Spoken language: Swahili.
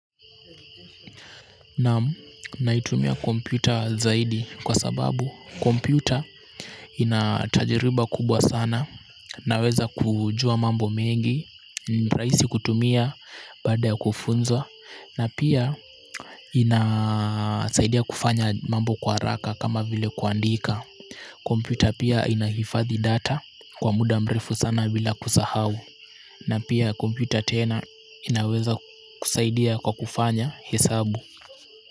Naam naitumia kompyuta zaidi kwa sababu kompyuta ina tajiriba kubwa sana. Naweza kujua mambo mengi, ni rahisi kutumia baada ya kufunzwa na pia inasaidia kufanya mambo kwa haraka kama vile kuandika. Kompyuta pia inahifadhi data kwa muda mrefu sana bila kusahau, na pia kompyuta tena inaweza kusaidia kwa kufanya hesabu.